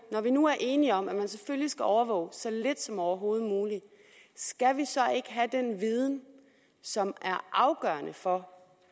når vi nu er enige om at man selvfølgelig skal overvåge så lidt som overhovedet muligt skal vi så ikke have den viden som er afgørende for